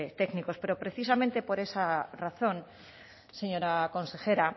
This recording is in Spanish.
técnicos pero precisamente por esa razón señora consejera